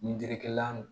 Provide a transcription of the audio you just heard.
Ni jirikɛla